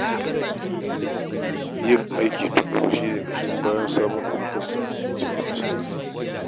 Yin aiki tuƙuru shi ne ƙashin bayan samun ɗaukakarsa da cin ma nasarori.